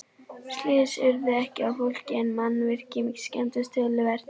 Slys urðu ekki á fólki en mannvirki skemmdust töluvert.